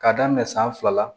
K'a daminɛ san fila la